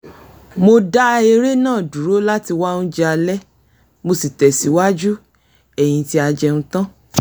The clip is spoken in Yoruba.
mo dá eré náà dúró láti wá oúnjẹ alẹ́ mo sì tẹ̀síwájú ;ẹ́yìn tí a jẹun tán